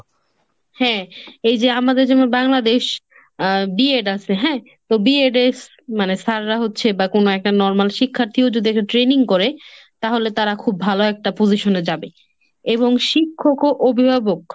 হ্যাঁ এই যে আমাদের যেমন বাংলাদেশ আ BED আছে হ্যাঁ. তো BED মানে sir রা হচ্ছে বা কোনো একটা normal শিক্ষার্থীও যদি একটা training করে তাহলে তাঁরা খুব ভালো একটা position এ যাবে এবং শিক্ষক ও অভিভাবক